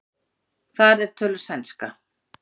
þar er töluð sænska